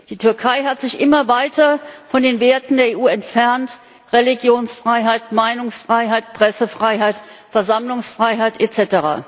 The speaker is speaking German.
Die Türkei hat sich immer weiter von den Werten der EU entfernt Religionsfreiheit, Meinungsfreiheit, Pressefreiheit, Versammlungsfreiheit, etc.